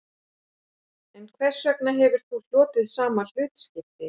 En hvers vegna hefur þú hlotið sama hlutskipti